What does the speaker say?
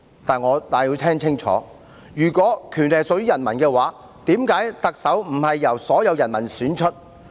"但是，如果權力屬於人民，為何特首並非由所有人民選出？